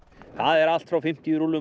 það er allt frá fimmtíu rúllum